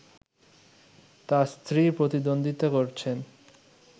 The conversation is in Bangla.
তার স্ত্রী প্রতিদ্বন্দ্বিতা করছেন